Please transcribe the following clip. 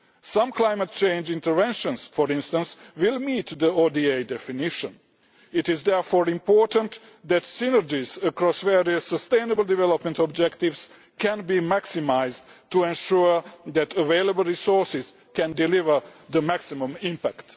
Some climate change interventions, for instance, will meet the ODA definition. It is therefore important that synergies across various sustainable development objectives can be maximised to ensure that available resources can deliver the maximum